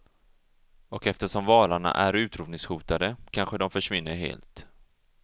Och eftersom valarna är utrotningshotade kanske de försvinner helt.